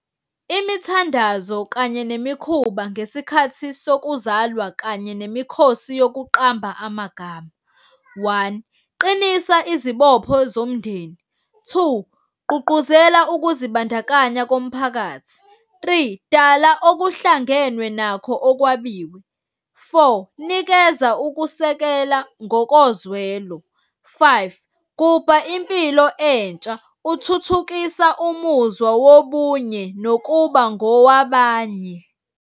Imithandazo kanye nemikhuba ngesikhathi sokuzalwa kanye nemikhosi yokuqamba amagama, one, qinisa izibopho zomndeni. Two, gqugquzela ukuzibandakanya komphakathi. Three, dala okuhlangenwe nakho okwabiwe. Four, nikeza ukusekela ngokozwelo. Five, gubha impilo entsha, uthuthukisa umuzwa wobunye, nokuba ngowabanye.